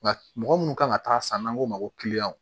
Nka mɔgɔ munnu kan ka taa san n'an k'o ma ko